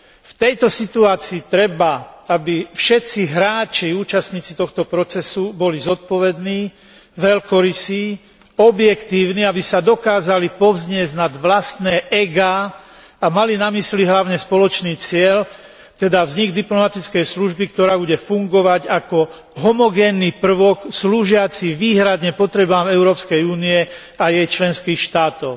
V tejto situácii treba, aby všetci hráči, účastníci tohto procesu, boli zodpovední, veľkorysí, objektívni, aby sa dokázali povzniesť nad vlastné egá a mali na mysli hlavne spoločný cieľ, teda vznik diplomatickej služby, ktorá bude fungovať ako homogénny prvok slúžiaci výhradne potrebám Európskej únie a jej členských štátov.